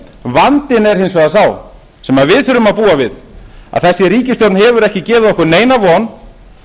vandinn er hins vegar sá sem við þurfum að búa við að þessi ríkisstjórn hefur ekki gefið okkur neina von